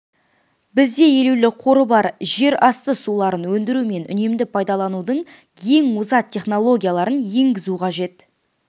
бізде елеулі қоры бар жерасты суларын өндіру мен үнемді пайдаланудың ең озат технологияларын енгізу қажет